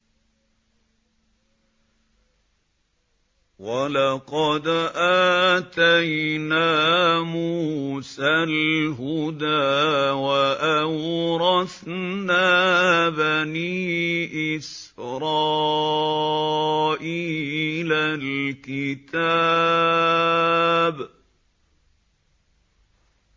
وَلَقَدْ آتَيْنَا مُوسَى الْهُدَىٰ وَأَوْرَثْنَا بَنِي إِسْرَائِيلَ الْكِتَابَ